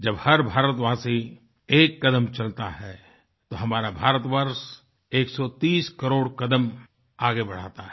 जब हर भारतवासी एक कदम चलता है तो हमारा भारत वर्ष 130 करोड़ कदम आगे बढ़ाता है